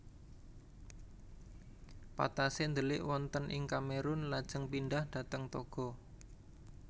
Patassé ndelik wonten ing Kamerun lajeng pindhah dhateng Togo